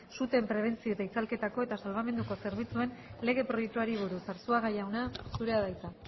suteen prebentzio eta itzalketako eta salbamenduko zerbitzuen lege proiektuari buruz arzuaga jauna zurea da hitza